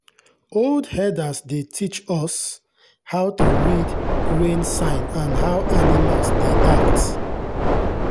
old herders dey teach us how to read rain sign and how animals dey act.